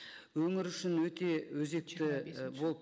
өңір үшін өте өзекті болып